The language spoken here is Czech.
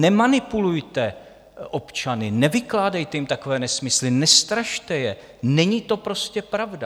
Nemanipulujte občany, nevykládejte jim takové nesmysly, nestrašte je, není to prostě pravda.